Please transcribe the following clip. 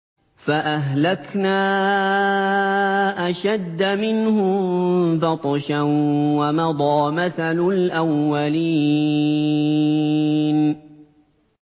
فَأَهْلَكْنَا أَشَدَّ مِنْهُم بَطْشًا وَمَضَىٰ مَثَلُ الْأَوَّلِينَ